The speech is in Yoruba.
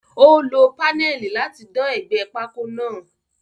Ó lọ paneli láti dán ègbé pákó náà.